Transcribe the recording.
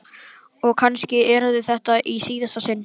Og kannski yrði þetta í síðasta sinn.